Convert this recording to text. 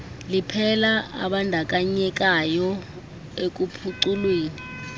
liphela abandakanyekayo ekuphuculweni